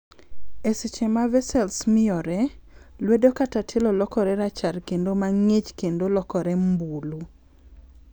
E seche ma vessels miyore,,lwedo kata tielo lokore rachar kendo mang'ich kendo lokore mbulu.